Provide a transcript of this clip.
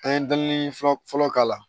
An ye dalini fɔlɔ fɔlɔ k'a la